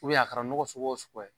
a kɛra mɔgɔya wo suguya ye.